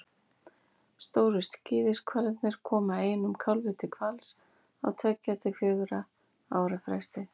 stóru skíðishvalirnir koma einum kálfi til hvals á tveggja til fjögurra ára fresti